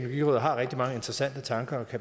altså centeret for